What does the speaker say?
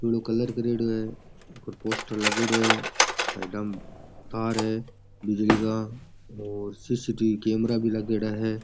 Blue colour करेडो है ऊपर पोस्टर लागेडो है साइडा में तार है बिजली का और सी.सी.टी.वी. कैमरा भी लगेड़ा है।